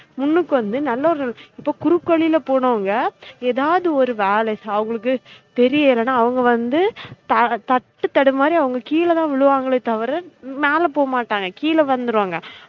முன்னுக்கு வந்து நல்ல ஒரு இப்ப குறுக்கு வழில போனவுங்க எதாவது ஒரு வேலை அவுங்களுக்கு தெரிலைனா அவுங்க வந்து தட்டுத்தடுமாரி அவுங்க கீழ தான் விழுவாங்கலே தவிர மேல போகமட்டாங்க கீழ வந்திருவாங்க